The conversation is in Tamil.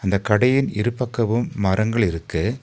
இந்த கடையின் இரு பக்கவும் மரங்கள் இருக்கு.